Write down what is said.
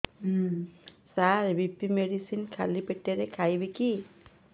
ସାର BP medicine ଖାଲି ପେଟରେ ଖାଇବି କି